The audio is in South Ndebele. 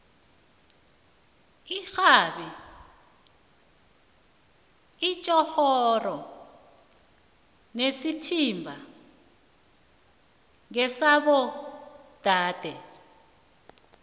irhabi itjhorhoro nesithimba ngesabo dade